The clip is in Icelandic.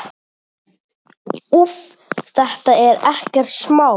Úff, þetta er ekkert smá.